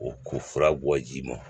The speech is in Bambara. O ko fura bɔ ji ma